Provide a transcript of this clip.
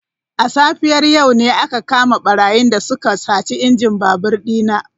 A safiyar yau ne aka kama barayin da suka sace injin babur dina.